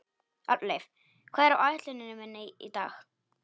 Arnleif, hvað er á áætluninni minni í dag?